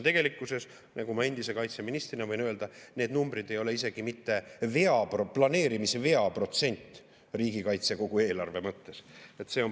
Tegelikkuses, nagu ma endise kaitseministrina võin öelda, need numbrid ei ole isegi mitte planeerimise veaprotsent riigikaitse kogu eelarve mõttes.